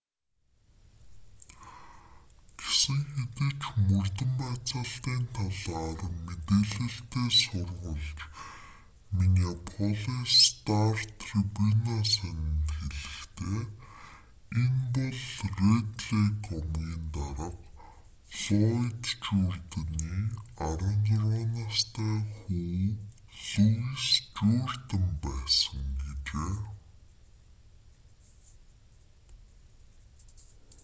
гэсэн хэдий ч мөрдөн байцаалтын талаар мэдээлэлтэй сурвалж миннеаполис стар-трибуна сонинд хэлэхдээ энэ бол рэд лейк омгийн дарга флойд журдины 16 настай хүү луис журдин байсан гэжээ